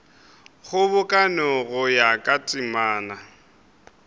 kgobokano go ya ka temana